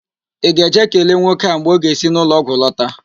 Ị ga-eje kelee nwoke a mgbe ọ ga-esi n'ụlọọgwụ lọta?